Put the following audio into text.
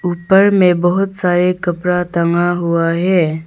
ऊपर में बहुत सारे कपड़ा टंगा हुआ है।